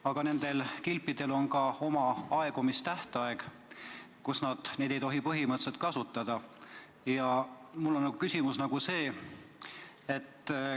Aga nendel kilpidel on aegumistähtaeg, st pärast seda ei tohi neid enam kasutada.